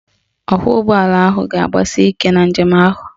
Ọkwọụgbọala ahụ ga-agbasi ike na njem ahụ